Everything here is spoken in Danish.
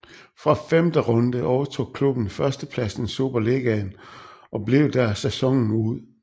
Fra femte runde overtog klubben førstepladsen i Superligaen og blev der sæsonen ud